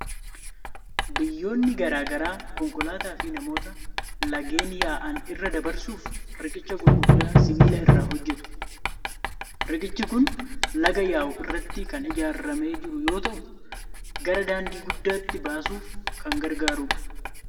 Biyyoonni garaa garaa konkolaataa fi namoota laggeen yaa'an irra dabarsuuf, riqicha gurguddaa sibiila irraa hojjetu. Riqichi kun laga yaa'u irratti kan ijaarmaee jiru yoo ta'u, gara daandii guddaatti baasuuf kan gargaarudha.